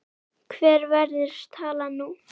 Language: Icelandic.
Hver verður talan nú?